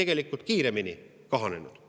tegelikult kiiremini kahanenud.